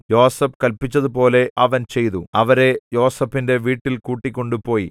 യോസേഫ് കല്പിച്ചതുപോലെ അവൻ ചെയ്തു അവരെ യോസേഫിന്റെ വീട്ടിൽ കൂട്ടിക്കൊണ്ട് പോയി